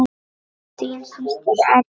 Þín systir Ella.